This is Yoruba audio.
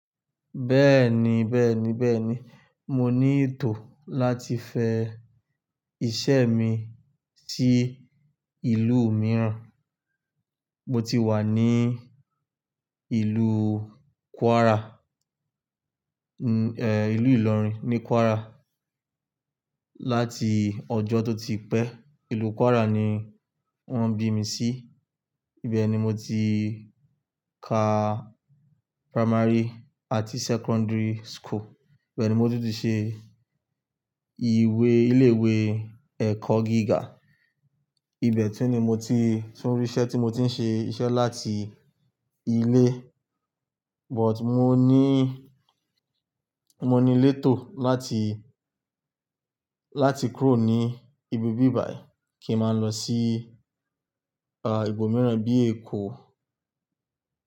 Bẹ́ẹ̀ni, bẹ́ẹ̀ni, bẹ́ẹ̀ni. Mo ní ètò láti fẹ́ iṣẹ́ mi sí ìlú mìíràn. Mo ti wà ní ìlú Kwara, ìlú Ìlọrin ní Kwara láti ọjọ́ tó ti pẹ́. Ìlú Kwara ni wọ́n bí mi sí. Ibẹ̀ ni mo ti ka primary àti secondary school. Bẹ́ẹ̀ ni mo tún ti ṣe ìwé ilé ìwé ẹ̀kọ́ gíga. Ibẹ̀ tún ni mo ti tún rí iṣẹ́ tí mo ti ń ṣe iṣẹ́ láti ilé. But mo ní, mo ní létò láti, láti kúrò ní ibi bíbàí kí n máa lọ sí ah ìlú mìíràn bí Èkó.